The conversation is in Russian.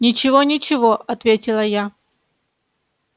ничего ничего ответила я